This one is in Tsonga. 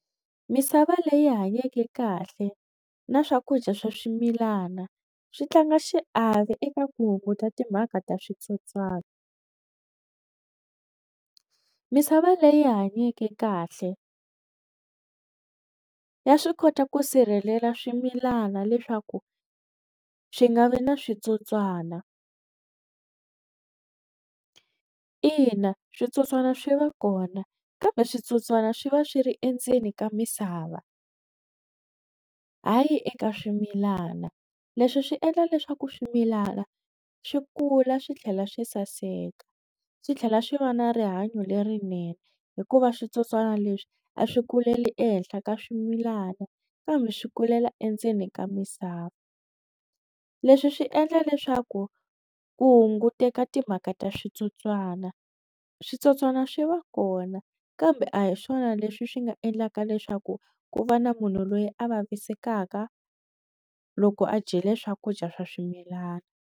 Misava leyi hanyeke kahle na swakudya swa swimilana swi tlanga xiave eka ku hunguta timhaka ta switsotswana misava leyi hanyeke kahle ya swi kota ku sirhelela swimilana leswaku swi nga vi na switsotswana ina switsotswana swi va kona kambe switsotswana swi va swi ri endzeni ka misava hayi eka swimilana leswi swi endla leswaku swimilana swi kula swi tlhela swi saseka swi tlhela swi va na rihanyo lerinene hikuva switsotswana leswi a swi kuleli ehenhla ka swimilana kambe swi kulela endzeni ka misava leswi swi endla leswaku ku hunguteka timhaka ta switsotswana switsotswana swi va kona kambe a hi swona leswi swi nga endlaka leswaku ku va na munhu loyi a vavisekaka loko a dyile swakudya swa swimilana.